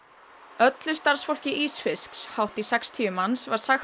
öllu starfsfólki ísfisks hátt í sextíu manns var sagt